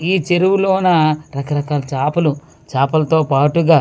ఈ చెరువు లోన రకరకాల చాపలు చాపలు తో పట్టుగా.